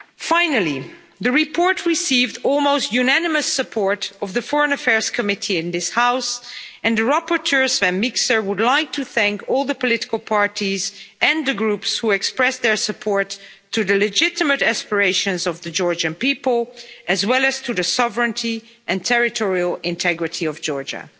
Finally, the report received the almost unanimous support of the Foreign Affairs Committee in this House, and the rapporteur, Sven Mikser, would like to thank all the political parties and the Groups who expressed their support to the legitimate aspirations of the Georgian people as well as to the sovereignty and territorial integrity of Georgia.